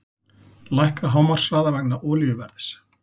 Lækka hámarkshraða vegna olíuverðs